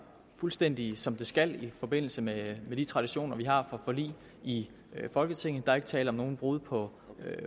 fuldstændig som de skal i forbindelse med de traditioner vi har for forlig i folketinget der er ikke tale om nogen brud på